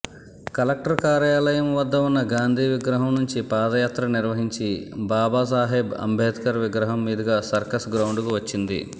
collector కార్యాలయం వద్ద ఉన్న గాంధీ విగ్రహం నుంచి పాదయాత్రనిర్వహించి బాబాసాహెబ్ అంబేద్కర్ విగ్రహం మీదుగా సర్కస్గ్రౌండ్కు వచ్చింది